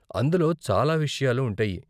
అందులో చాలా విషయాలు ఉంటాయి.